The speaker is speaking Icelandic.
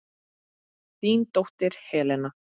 Þín dóttir, Helena.